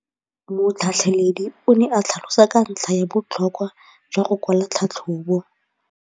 Motlhatlheledi o ne a tlhalosa ka ntlha ya botlhokwa jwa go kwala tlhatlhôbô.